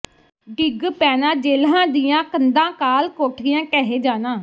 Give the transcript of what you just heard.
ਡਿੱਗ ਪੈਣਾਂ ਜੇਲ਼੍ਹਾਂ ਦੀਆਂ ਕੰਧਾਂ ਕਾਲ ਕੋਠੀਆਂ ਢਹਿ ਜਾਣਾ